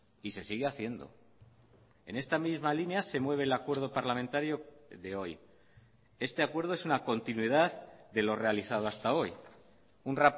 y se sigue haciendo en esta misma línea se mueve el acuerdo parlamentario de hoy este acuerdo es una continuidad de lo realizado hasta hoy un